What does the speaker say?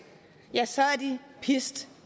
ja så er de pist